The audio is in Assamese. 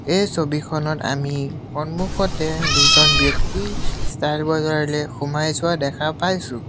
এই ছবিখনত আমি সন্মুখতে দুজন ব্যক্তি ষ্টাইল বজাৰলে সোমাই যোৱা দেখা পাইছোঁ।